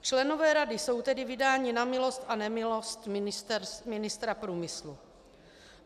Členové rady jsou tedy vydáni na milost a nemilost ministra průmyslu.